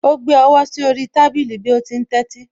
Ó gbé ọwọ́ sí orí tábìlì bí ó ti ń tẹ́tí